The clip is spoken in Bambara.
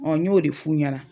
Ɔ n y'o de f'u ɲɛna